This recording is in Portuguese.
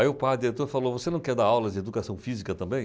Aí o padre entrou, falou, você não quer dar aulas de educação física também?